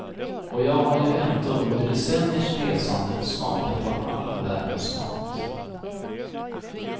Och jag har ju ändå under decenniers resande smakat av all världens mat.